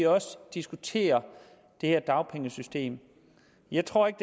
også diskutere det her dagpengesystem jeg tror ikke